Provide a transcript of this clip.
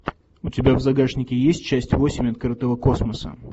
у тебя в загашнике есть часть восемь открытого космоса